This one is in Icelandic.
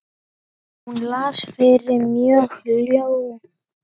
Hún las fyrir mig ljóð.